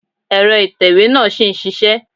Èrọ ìtẹ̀wé náà ṣì ń ṣisẹ́.